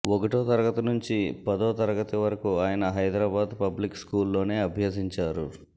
ఒకటో తరగతి నంచి పదో తరగతి వరకు ఆయన హైదరాబాద్ పబ్లిక్ స్కూల్లోనే అభ్యసించారు